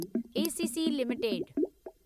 ACC limited